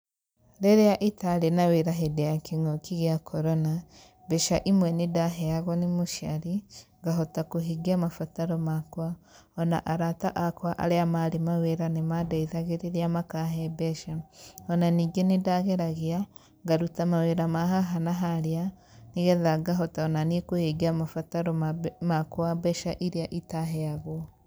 Rĩrĩa itarĩ na wĩra hĩndĩ ya kĩng'ũki gĩa Korona, mbeca imwe nĩ ndaheagwo nĩ mũciari ngahota kũhingia mabataro makwa, ona arata akwa arĩa marĩ mawĩra nĩ mandeithagĩrĩria makahe mbeca, ona ningĩ nĩndageragia, ngaruta mawĩra ma haha na harĩa, nĩgetha ngahota ona niĩ kũhingia mabataro ma mbe makwa mbeca iria itaheagwo.